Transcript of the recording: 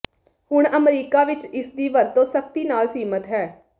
ਹੁਣ ਅਮਰੀਕਾ ਵਿਚ ਇਸਦੀ ਵਰਤੋਂ ਸਖਤੀ ਨਾਲ ਸੀਮਿਤ ਹੈ